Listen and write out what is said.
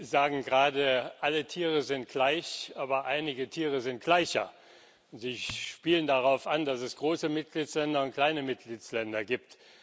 Sie sagen gerade Alle Tiere sind gleich, aber einige Tiere sind gleicher. Sie spielen darauf an, dass es große Mitgliedstaaten und kleine Mitgliedstaaten gibt.